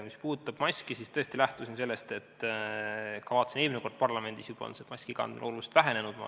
Mis puudutab maski, siis tõesti lähtusin sellest, et vaatasin juba eelmine kord parlamendis, kuidas maskikandmine on tuntavalt vähenenud.